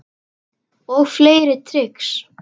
Og fleiri trix.